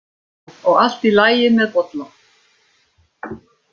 Og allt í lagi með Bolla?